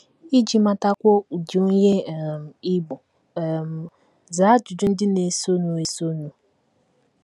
Iji matakwuo ụdị onye um ị bụ um, zaa ajụjụ ndị na - esonụ esonụ: